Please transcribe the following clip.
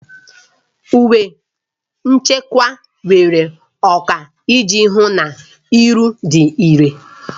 Uwe nchekwa nwere ọkwa iji hụ na iwu dị irè.